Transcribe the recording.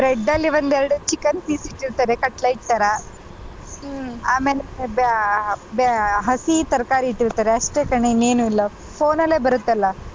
Bread ಅಲ್ಲಿ ಒಂದೆರಡು chicken piece ಇಟ್ಟಿರ್ತಾರೆ cutlet ತರ ಹ್ಮ್‌ ಆಮೇಲೆ ಬ್ಯಾ~ ಬ್ಯಾ~ ಬ್ಯಾ~ ಹಸಿ ತರಕಾರಿ ಇಟ್ಟಿರ್ತಾರೆ ಅಷ್ಟೆ ಕಣೆ ಇನ್ನೇನು ಇಲ್ಲ phone ಅಲ್ಲೇ ಬರುತ್ತಲ್ಲ.